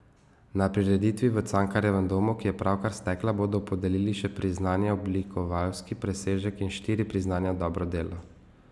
Na prireditvi v Cankarjevem domu, ki je pravkar stekla, bodo podelili še priznanje oblikovalski presežek in štiri priznanja dobro delo.